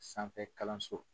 Sanfɛ kalanso.